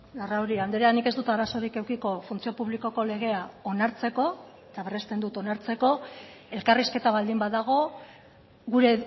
larrauri andrea nik ez dut arazorik edukiko funtzio publikoko legea onartzeko eta berresten dut onartzeko elkarrizketa baldin badago gure